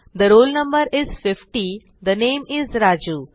the roll no is 50 the name is Raju